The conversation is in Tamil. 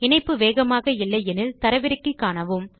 இணைப்பு வேகமாக இல்லை எனில் அதை தரவிறக்கி காணுங்கள்